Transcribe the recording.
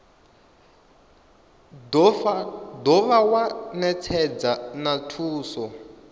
dovha wa netshedza na thuso